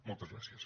moltes gràcies